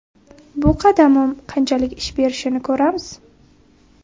Bu qadamim qanchalik ish berishini ko‘ramiz.